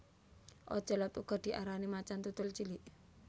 Ocelot uga diarani macan tutul cilik